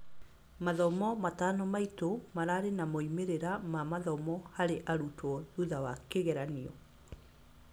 Mathomo matano maitu mararĩ na moimĩrĩra ma mathomo harĩ arutwo thutha wa kĩgeranio